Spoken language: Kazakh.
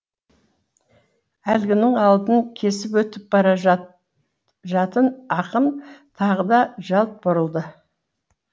әлгінің алдын кесіп өтіп бара жатын ақын тағы да жалт бұрылды